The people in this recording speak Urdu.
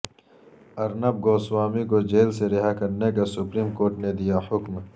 ارنب گوسوامی کو جیل سے رہا کرنے کا سپریم کورٹ نے دیا حکم